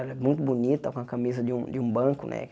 Ela é muito bonita, com a camisa de um de um banco, né?